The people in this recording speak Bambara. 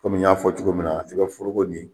Kɔmi n y'a fɔ cogo min na, i ka foroko nin.